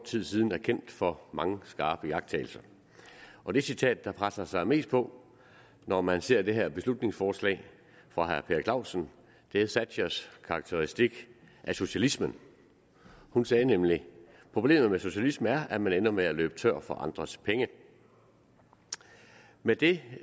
tid siden er kendt for mange skarpe iagttagelser og det citat der presser sig mest på når man ser det her beslutningsforslag fra herre per clausen er thatchers karakteristik af socialismen hun sagde nemlig problemet med socialisme er at man ender med at løbe tør for andres penge med det